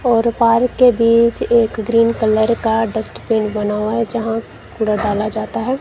और पार्क के बीच एक ग्रीन कलर का डस्टबिन बना हुआ जहां कूड़ा डाला जाता है।